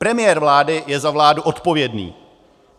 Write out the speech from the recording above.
Premiér vlády je za vládu odpovědný.